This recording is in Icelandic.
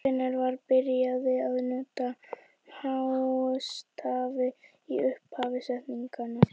Hvenær var byrjað að nota hástafi í upphafi setninga?